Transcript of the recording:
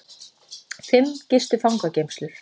Fimm gistu fangageymslur